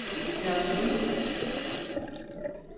Nørresundby